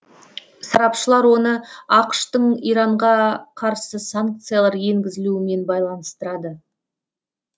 сарапшылар оны ақш тың иранға қарсы санкциялар енгізілуімен байланыстырады